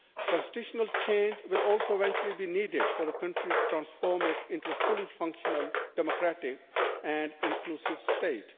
Constitutional change will also eventually be needed for the country to transform it into a fully functional, democratic and inclusive state.